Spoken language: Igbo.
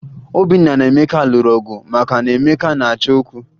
Obinna na Emeka lụrụ ọgụ maka na Emeka na-achọ okwu